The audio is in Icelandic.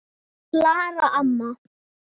Klara amma.